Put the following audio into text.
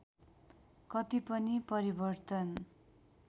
कति पनि परिवर्तन